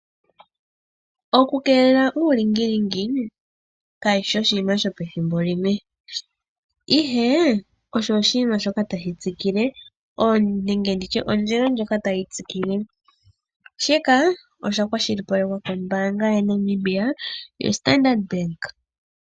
Okukeelela uulingilingi ka shishi oshiima shopethimbo limwe ihe osho oshiima shoka tashi tsikile nenge nditye ondjila ndjoka tayi tsikile shika osha kwa shilipalekwa kombanga yaNamibia yoStardarnd.